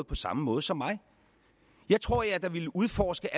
på samme måde som mig jeg tror da at jeg ville udforske